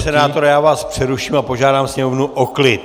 Pane senátore, já vás přeruším a požádám sněmovnu o klid!